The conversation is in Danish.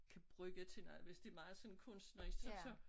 Kan bruge til noget hvis det meget sådan kunstnerisk så så